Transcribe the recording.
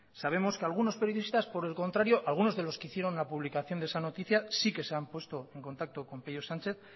sabemos que algunos periodistas por el contrario algunos de los que hicieron la publicación de esa noticia sí que se han puesto en contacto con peio sánchez